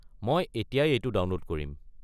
মই এতিয়াই এইটো ডাউনলোড কৰিম।